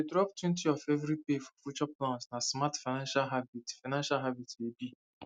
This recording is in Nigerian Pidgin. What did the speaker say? to dey droptwentyof every pay for future plans na smart financial habit financial habit e be